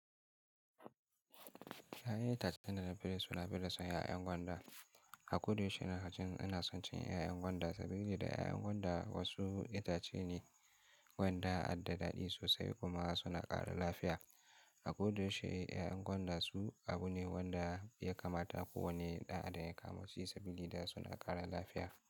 Ya'yan itacen da na fi so nafi son 'ya'yan gwanda. A kodayaushe ina cin— ina son cin 'ya'yan gwanda saboda da 'ya'yan gwanda wasu itace ne wanda adda daɗi sosai kuma suna ƙara lafiya. A kodayaushe 'ya'yan gwanda su abu ne wanda ya kamata kowane ɗan adam ya kama ci saboda suna ƙara lafiya.